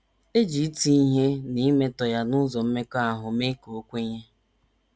E ji iti ihe na imetọ ya n’ụzọ mmekọahụ mee ka o kwenye.